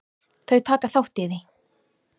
Þau taka þátt í því.